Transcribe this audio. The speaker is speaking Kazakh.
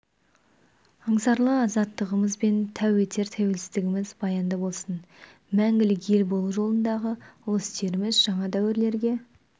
аңсарлы азаттығымыз бен тәу етер тәуелсіздігіміз баянды болсын мәңгілік ел болу жолындағы ұлы істеріміз жаңа дәуірлерге